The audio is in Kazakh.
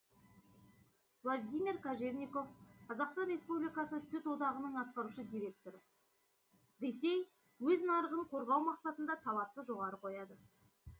владимир кожевников қазақстан республикасы сүт одағының атқарушы директоры ресей өз нарығын қорғау мақсатында талапты жоғары қояды